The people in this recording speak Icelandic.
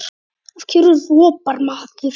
Af hverju ropar maður?